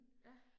Ja